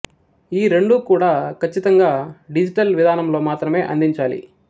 ఈ రెండూ కూడా కచ్చితంగా డిజిటల్ విధానంలో మాత్రమే అందించాలి